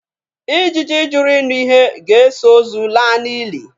Ijiji jụrụ ịnụ ihe ga-eso ozu laa n'ili.